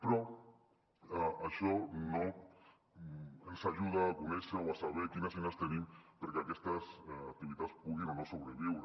però això no ens ajuda a conèixer o a saber quines eines tenim perquè aquestes activitats puguin o no sobreviure